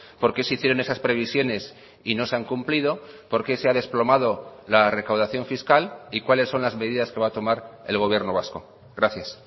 por qué se hicieron esas previsiones y no se han cumplido por qué se ha desplomado la recaudación fiscal y cuáles son las medidas que va a tomar el gobierno vasco gracias